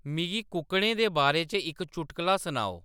मिगी कुक्कड़ें दे बारे च इक चुटकला सुनाओ